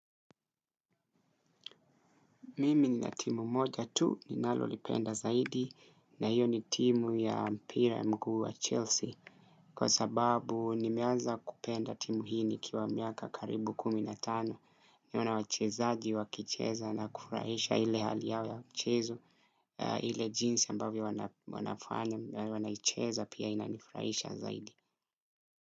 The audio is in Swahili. Mimi nina timu moja tu ninalolipenda zaidi na hiyo ni timu ya mpira ya mguu wa Chelsea. Kwa sababu nimeanza kupenda timu hii nikiwa miaka karibu kumi na tano nione wachezaji, wakicheza na kufurahisha ile hali yao ya mchezo ile jinsi ambavyo wanafanya, wanaicheza pia inanifurahisha zaidi.